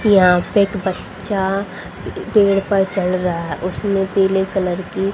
यहां पे एक बच्चा पे पेड़ पर चढ़ रहा उसने पीले कलर की--